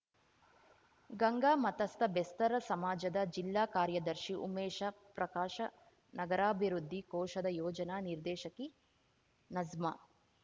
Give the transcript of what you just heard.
ಗಂಗಾಮತಸ್ತ ಬೆಸ್ತರ ಸಮಾಜದ ಜಿಲ್ಲಾ ಕಾರ್ಯದರ್ಶಿ ಉಮೇಶ ಪ್ರಕಾಶ ನಗರಾಭಿವೃದ್ಧಿ ಕೋಶದ ಯೋಜನಾ ನಿರ್ದೇಶಕಿ ನಜ್ಮಾ